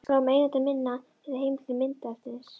Skrá um eigendur mynda eða heimildir myndefnis.